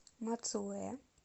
мацуэ